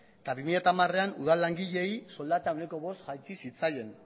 eta bi mila hamarean udal langileei soldata ehuneko bost jaitsi zitzaien